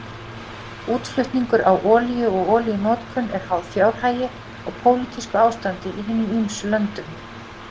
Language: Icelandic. Útflutningur á olíu og olíunotkun eru háð fjárhag og pólitísku ástandi í hinum ýmsu löndum.